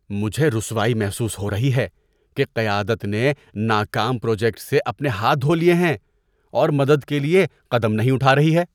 مجھے رسوائی محسوس ہو رہی ہے کہ قیادت نے ناکام پروجیکٹ سے اپنے ہاتھ دھو لیے ہیں اور مدد کے لیے قدم نہیں اٹھا رہی ہے۔